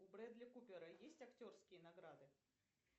у бредли купера есть актерские награды